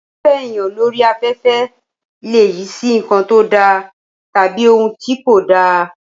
Fífẹ́ èèyàn lórí afẹ́fẹ́ lè yí sí nǹkan tó da tàbí ohun tí kò dá